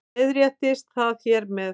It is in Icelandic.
Leiðréttist það hér með